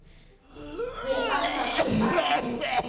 be a sa hlwe a